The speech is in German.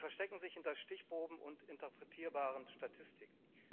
Sie verstecken sich hinter Stichproben und interpretierbaren Statistiken.